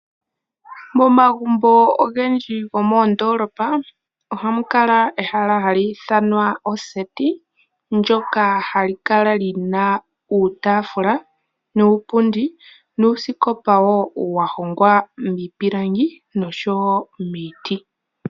Momagumbo ogendji gomoondolopa ohamu kala ehala hali ithanwa oseti. Ndyoka hali kala lina uutafula nuupundi nuusikopa wo wa hogwa miipilangi noshowo miiti.